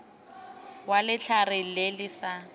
wa letlhare le le sa